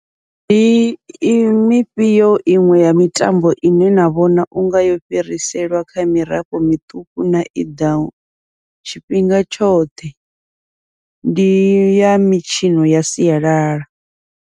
Ndi i mifhio iṅwe ya mitambo ine na vhona unga yo fhiriselwa kha mirafho miṱuku na i ḓaho tshifhinga tshoṱhe, ndi ya mitshino ya sialala.